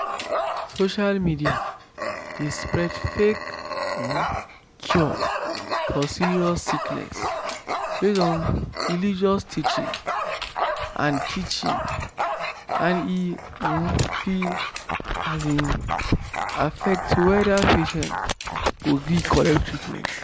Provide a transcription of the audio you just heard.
social media dey spread fake um cure for serious sickness based on religious teaching and teaching and e um fit um affect whether patient go gree collect treatment.